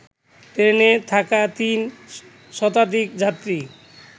ট্রেনে থাকা ৩ শতাধিক যাত্রী